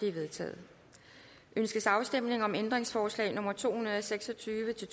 er vedtaget ønskes afstemning om ændringsforslag nummer to hundrede og seks og tyve til